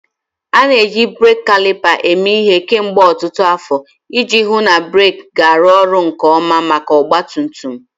A na-eji breeki kalipa eme ihe kemgbe ọtụtụ afọ iji hụ na breeki ga-arụ ọrụ nke ọma maka ọgba tum tum.